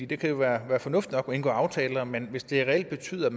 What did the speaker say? det kan jo være fornuftigt nok at man indgår aftaler men hvis det reelt betyder at